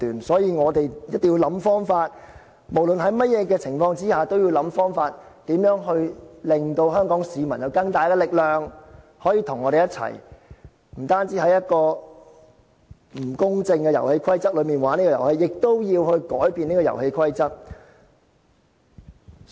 所以，我們一定要想方法，無論在甚麼情況下，都要想方法，令香港市民有更大力量可以跟我們一起，不單在一個不公正的遊戲規則下玩這個遊戲，亦要改變這個遊戲規則。